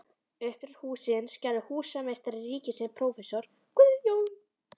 Uppdrátt hússins gerði húsameistari ríkisins prófessor Guðjón